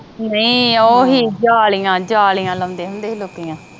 ਨਹੀਂ ਓਹੀ ਜਾਲੀਆਂ ਜਾਲੀਆਂ ਲਾਉਂਦੇ ਹੁੰਦੇ ਸੀ ਲੋਕੀਆਂ